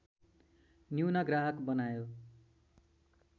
न्यून ग्राहक बनायो